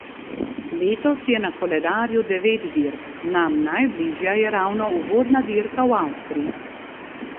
Letos je na koledarju devet dirk, nam najbližja je ravno uvodna dirka v Avstriji.